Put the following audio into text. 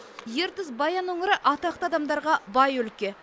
ертіс баян өңірі атақты адамдарға бай өлке